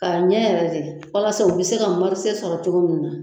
K'a ɲɛ yɛrɛ dɛ walasa u bɛ se ka sɔrɔ cogo min na.